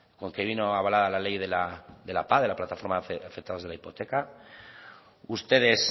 con que vino avalada la ley de la pah de la plataforma de afectados de la hipoteca ustedes